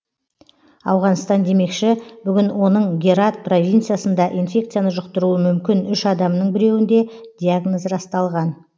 ауғанстан демекші бүгін оның герат провинциясында инфекцияны жұқтыруы мүмкін үш адамның біреуінде диагноз расталған